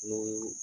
N'o ye